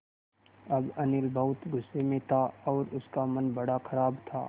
अब अनिल बहुत गु़स्से में था और उसका मन बड़ा ख़राब था